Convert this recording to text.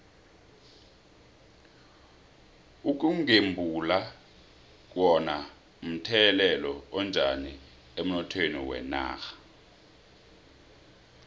ukugembula kuno mthelela onjani emnothweni wenarha